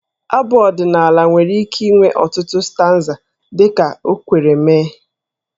Abụ ọdịnaala nwere ike inwe ọtụtụ stanza dị ka o kwere mee.